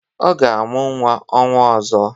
Ọ ga-amụ nwa n'ọnwa ọzọ.